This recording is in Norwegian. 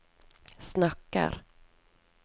snakker